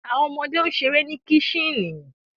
Awọn ọmọde n ṣere ni kicten